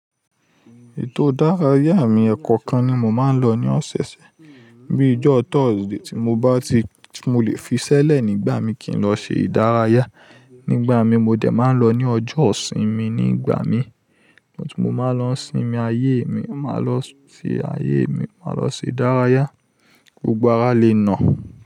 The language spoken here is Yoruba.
Ètò ìdárayá mi, eẹ̀kọ́okan ni mo máa ń lọ ní ọ̀seesẹ̀. Bí ojó Thursday tí mo bá ti, tí mo lè fiṣẹ́ lẹ̀ nígbà mí kí n lọ ṣe ìdárayá. Nígbà mí mo dè máa ń lọ ní ọjọ́ isinmi mi nígbà mí. Mo máa lọ sinmi ayé mi, màá lọ sin ayé mi, màá lọ ṣe ìdárayá. Gbogbo ara a lè nà.